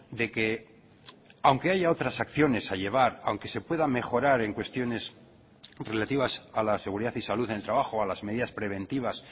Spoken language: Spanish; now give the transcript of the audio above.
de que aunque haya otras acciones a llevar aunque se pueda mejorar en cuestiones relativas a la seguridad y salud en el trabajo a las medidas preventivas